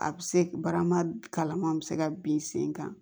A bɛ se barama kalama a bɛ se ka bin sen kan